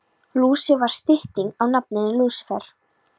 Lúsi var stytting á nafninu Lúsífer.